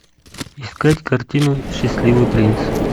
искать картину счастливый принц